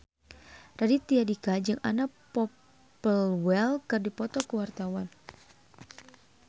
Raditya Dika jeung Anna Popplewell keur dipoto ku wartawan